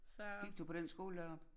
Gik du på den skole deroppe?